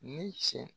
Ni cɛ